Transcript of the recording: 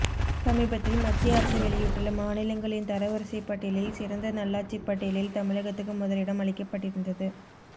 சமீபத்தில் மத்திய அரசு வெளியிட்டுள்ள மாநிலங்களின் தரவரிசை பட்டியலில் சிறந்த நல்லாட்சி பட்டியலில் தமிழகத்துக்கு முதலிடம் அளிக்கப்பட்டிருந்தது